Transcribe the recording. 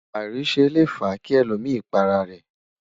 airise Le fa ki èlò mí pá ará rè